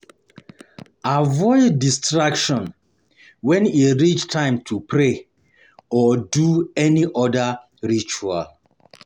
Avoid distraction when e reach time to pray or do any other ritual